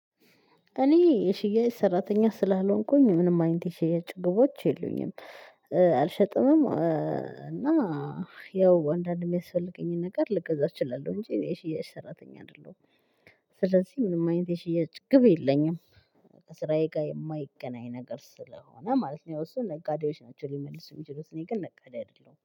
እኔ የሽያጭ ሰራተኛ ስላልሆንኩኝ ምንም አይነት የሽያጭ ግቦች የሉኝም። አልሸጥምም እና ያው አንዳንዴ የሚያስፈልገኝን ነገር ልክ እዛ እችላለሁ እንጂ የሽያጭ ሰራተኛ አይደለሁም። ስለዚህ ምንም አይነት የሽያጭ ግብ የለኝም። ከስራዬ ጋር የማይገናኝ ነገር ስለሆነ ማለት ነው። እሱ ነጋዴዎች አንጂ ሊመልሱ የሚችሉት እኔ ግን ነጋዴ አይደለሁም